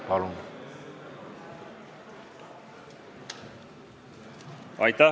Palun!